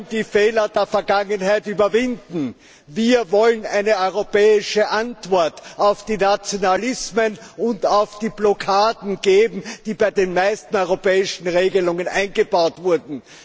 Wir wollen die Fehler der Vergangenheit überwinden, wir wollen eine europäische Antwort auf die Nationalismen und auf die Blockaden geben, die bei den meisten europäischen Regelungen eingebaut wurden.